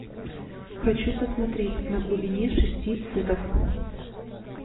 хочу посмотреть на глубине шести футов